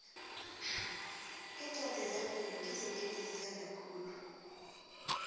iincwadi zemvelo ngizo engizithanda khulu